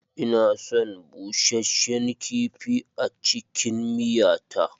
Ina son busheshen kifi a cikin miya ta.